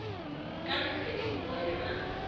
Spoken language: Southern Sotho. ka lesedi ho bohle ba